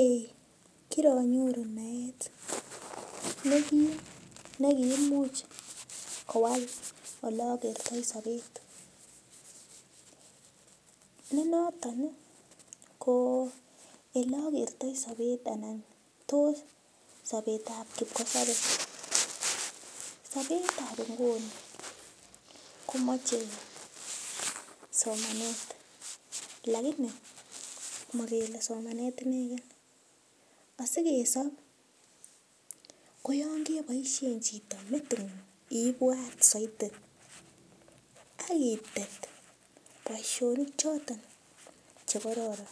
Eeh kiranyoru naet nekim nekiimuch kowal ole akertoi sobet ni noton ko ele akertoi sobet ane ko sobet ap kipkosopei sobet ap inguni komochei somanet lakini makele somanet ineken asikesob ko yon keboishe chito metingung iipwat saidi akitet boishinik choton chekororon